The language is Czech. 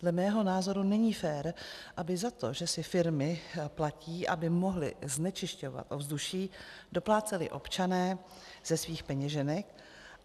Dle mého názoru není fér, aby za to, že si firmy platí, aby mohly znečisťovat ovzduší, dopláceli občané ze svých peněženek.